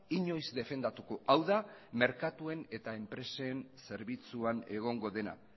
inoiz defendatuko hau da merkatuen eta enpresen zerbitzuan egongo dena